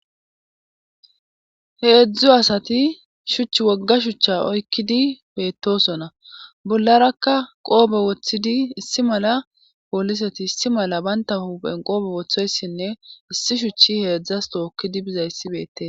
Heedzdzu asati shucha wogga shuchcha oykkidi beettosona bollarakka qoobe woththidi issi mala pooliseti issi mala baynta hupen qoobe woththoyssinne issi shuchchi heedzdzas tookkidi bizayssibeette.